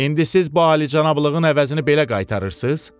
İndi siz bu alicənablığın əvəzini belə qaytarırsınız?